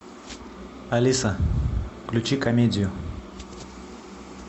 алиса включи комедию